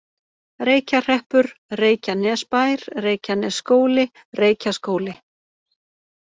Reykjahreppur, Reykjanesbær, Reykjanesskóli, Reykjaskóli